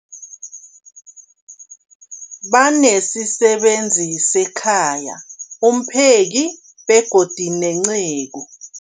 Banesisebenzi sekhaya, umpheki, begodu nenceku.